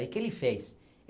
E o que ele fez?